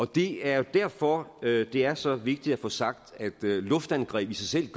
det er jo derfor det er så vigtigt at få sagt at luftangreb i sig selv